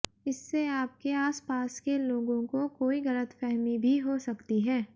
इससे आपके आसपास के लोगों को कोई गलतफ़हमी भी हो सकती है